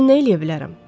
Mən nə eləyə bilərəm?